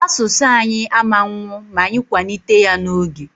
Asụsụ anyị ama nnwụ ma anyị kwanite ya n'oge.